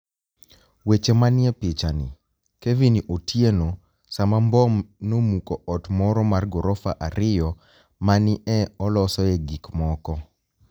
Weche maniie pichanii, Kevini Otieno sama mbom nomuko ot moro mar gorofa ariyo ma ni e olosoe gik moko.